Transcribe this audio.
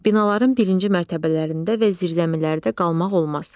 Binaların birinci mərtəbələrində və zirzəmilərdə qalmaq olmaz.